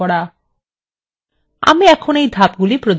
আমি এখন এই ধাপগুলি প্রদর্শন করব